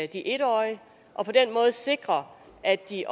de en årige og på den måde sikre at de